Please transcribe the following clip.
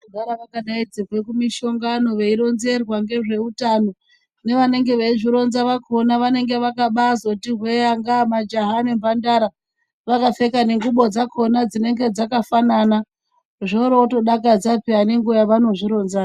Vanogara wakadaidzirwe kumishongano veironzerwa ngezve utano ,kune vanenge veizvironza vakona vanenge vakabazotihwe angaa majaha ne mhandara vakapfeka nengubo dzakona dzinenge dzakafanana zvorootodakadza peya nenguwa yavanozvironzayo.